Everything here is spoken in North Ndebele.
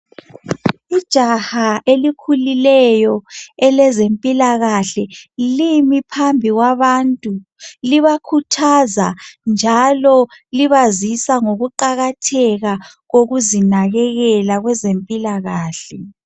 Ijaha elikhulileyo elezempilakahle limi phambi kwabantu libakhuthaza njalo libazisa ngokuqakatheka kokuzinakekela kwezempilakahle.